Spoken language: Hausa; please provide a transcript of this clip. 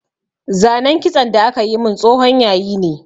Zanen kitson da aka yi min tsohon yayi ne